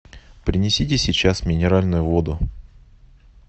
принесите сейчас минеральную воду